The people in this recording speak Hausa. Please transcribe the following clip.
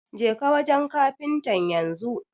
Jeka wanjen kafintan yanzu